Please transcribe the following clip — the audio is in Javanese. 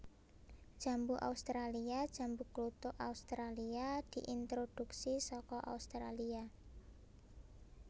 Jambu australia Jambu kluthuk Australia diintroduksi saka Australia